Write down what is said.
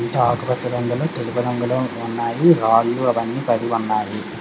ఆకుపచ్చ రంగులో తెలుపు రంగులో ఉన్నాయి రాళ్ళు అవి అన్ని పడి ఉన్నాయి.